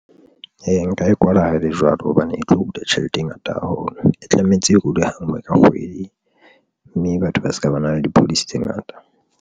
Ee, nka e kwala ha ele jwalo hobane e tlo hula tjhelete e ngata haholo, e tlametse e hule ha ngwe ka kgwedi mme batho ba se ka ba na le di-policy tse ngata.